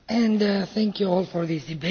Thank you all for this debate.